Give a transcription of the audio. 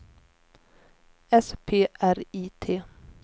S P R I T